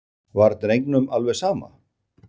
Var drengnum alveg sama?